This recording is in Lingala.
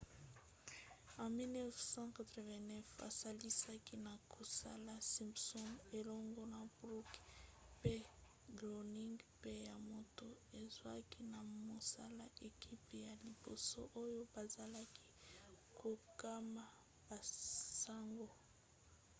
na 1989 asalisaki na kosala simpsons elongo na brooks pe groening mpe ye moto azwaki na mosala ekipe ya liboso oyo bazalaki kokoma basango